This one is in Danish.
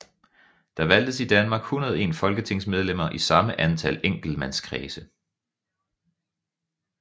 Der valgtes i Danmark 101 folketingsmedlemmer i samme antal enkeltmandskredse